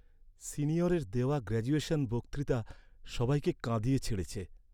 সিনিয়রের দেওয়া গ্র্যাজুয়েশন বক্তৃতা সবাইকে কাঁদিয়ে ছেড়েছে।